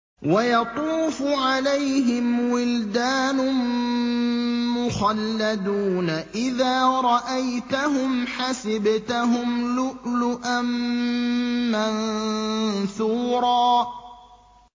۞ وَيَطُوفُ عَلَيْهِمْ وِلْدَانٌ مُّخَلَّدُونَ إِذَا رَأَيْتَهُمْ حَسِبْتَهُمْ لُؤْلُؤًا مَّنثُورًا